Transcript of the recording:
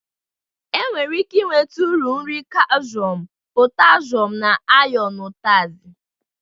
E nwere ike inweta uru nri kalshum, potashum na ayọn n'ụtazị.